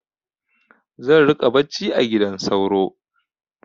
Zan riƙa bacci a gidan sauro.